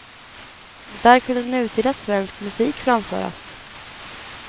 Där kunde nutida svensk musik framföras.